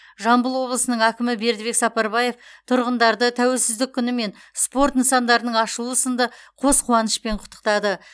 жамбыл облысының әкімі бердібек сапарбаев тұрғындарды тәуелсіздік күні мен спорт нысандарының ашылуы сынды қос қуанышпен құттықтады